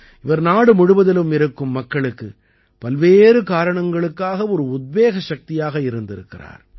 இவர் நாடு முழுவதிலும் இருக்கும் மக்களுக்கு பல்வேறு காரணங்களுக்காக ஒரு உத்வேக சக்தியாக இருந்திருக்கிறார்